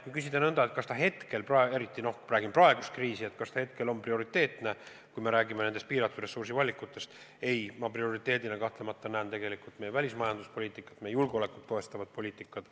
Kui küsida, kas see praegusel hetkel, kui meil on kriis, on prioriteetne, kui me räägime nendest piiratud ressursi tingimustes tehtavatest valikutest, siis ma prioriteedina kahtlemata näen meie välismajanduspoliitikat, meie julgeolekut toestavat poliitikat.